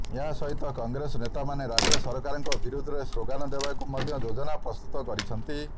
ଏହା ସହିତ କଂଗ୍ରେସ ନେତାମାନେ ରାଜ୍ୟ ସରକାରଙ୍କ ବିରୋଧରେ ଶ୍ଲୋଗାନ ଦେବାକୁ ମଧ୍ୟ ଯୋଜନା ପ୍ରସ୍ତୁତ କରିଛନ୍ତି